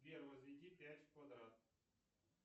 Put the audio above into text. сбер возведи пять в квадрат